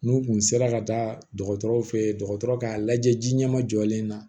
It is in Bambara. N'u kun sera ka taa dɔgɔtɔrɔw fɛ ye dɔgɔtɔrɔ k'a lajɛ ji ɲɛma jɔlen na